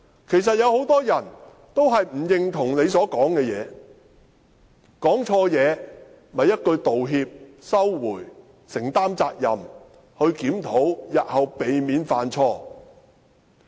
其實很多人也不認同他所說的話，他說錯話，只需一句道歉，收回有關言論，承擔責任，作出檢討，日後避免犯錯。